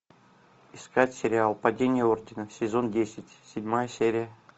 искать сериал падение ордена сезон десять седьмая серия